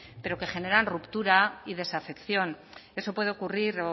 pero que generan ruptura y desafección eso puede ocurrir